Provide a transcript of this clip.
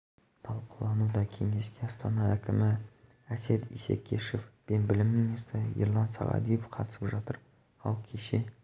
талқылануда кеңеске астана әкімі әсет исекешев пен білім министрі ерлан сағадиев қатысып жатыр ал кеше